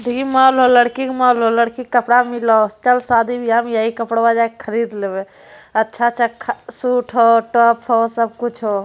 देखहि mall हौ लड़की के मौल हौ लड़की के कपड़ा मिल हौ चल सादी बियाह में यहीं कपड़वा जाके खरीद लेबै अच्छा अच्छा सूट हो टॉप हो सब कुछ हो।